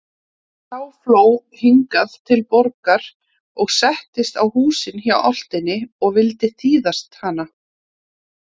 Sá fló hingað til Borgar og settist á húsin hjá álftinni og vildi þýðast hana.